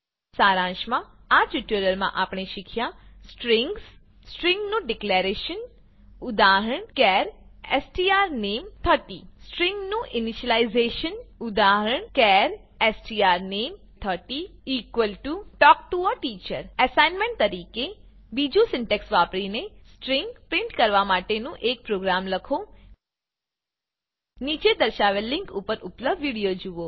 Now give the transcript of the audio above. સારાંશમાં આ ટ્યુટોરીયલમાં આપણે શીખ્યા સ્ટ્રિંગસ સ્ટ્રિંગ નું ડીકલેરેશન ઉદાહરણ ચાર strname30 સ્ટ્રિંગ નું ઈનીશલાઈઝેશન ઉદાહરણ char strname30 talk to a teacher assignment તરીકે 2જુ સિન્ટેક્સ વાપરીને સ્ટ્રીંગ પ્રીંટ કરવા માટેનું એક પ્રોગ્રામ લખો નીચે દર્શાવેલ લીંક પર ઉપલબ્ધ વિડીયો નિહાળો